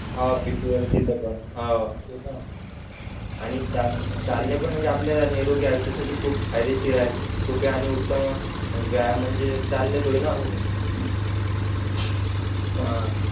हान pt वरते तेत पण हां आणि चाल चालणे पण म्हणजे आपले नैरोग्य आयुष्या साठी खूप फायदेशीर आहे सोप्या आणि उत्तम व्यायाम म्हणजे चालणेच होय ना हो हो हान